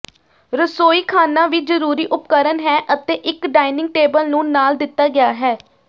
ਰਸੋਈਖਾਨਾ ਵੀ ਜ਼ਰੂਰੀ ਉਪਕਰਣ ਹੈ ਅਤੇ ਇੱਕ ਡਾਇਨਿੰਗ ਟੇਬਲ ਨੂੰ ਨਾਲ ਦਿੱਤਾ ਗਿਆ ਹੈ